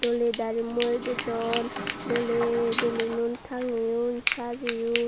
doley dari murededon doley belunun tangeyon sajeyon.